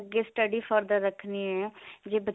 ਜੇ study further ਰੱਖਣੀ ਹੈ ਜੇ